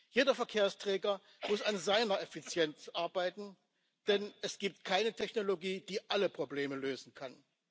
Jeder Verkehrsträger muss an seiner Effizienz arbeiten, denn es gibt keine Technologie, die alle Probleme lösen kann.